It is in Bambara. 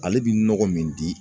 Ale bi nɔgɔ min di